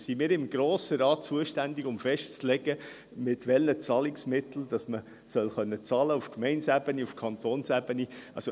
Sind wir im Grossen Rat zuständig dafür, festzulegen, mit welchen Zahlungsmitteln man auf Gemeindeebene, auf Kantonsebene zahlen können soll?